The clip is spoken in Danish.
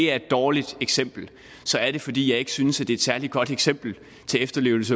er et dårligt eksempel så er det fordi jeg ikke synes det er et særlig godt eksempel